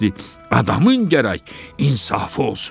Adamın gərək insafı olsun.